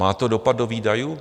Má to dopad do výdajů?